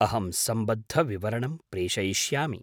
अहं सम्बद्धविवरणं प्रेषयिष्यामि।